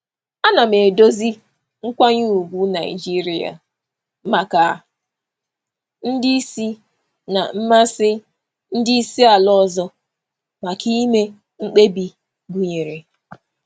Ana m ahazi nkwanye ùgwù Naịjirịa maka ọkwa na mmasị ndị oga si mba ọzọ maka ime mkpebi gụnyere mmadụ niile.